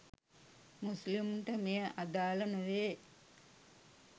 මුස්ලිමුන්ට මෙය අදාල නොවේ.